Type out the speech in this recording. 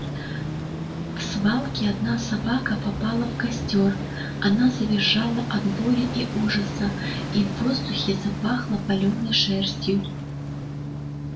в свалке одна собака попала в костёр она завизжала от боли и ужаса и в воздухе запахло палёной шерстью